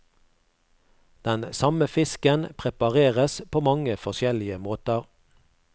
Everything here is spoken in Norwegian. Den samme fisken prepareres på mange forskjellige måter.